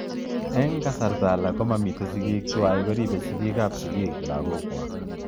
Ing kasarta alak ko mamii sigik twai koripe sigik ap sigik lagok kwak.